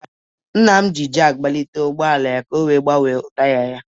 Nna m jiri jakị gbalite ụgọala ya ka o wee gbanwee taya ya.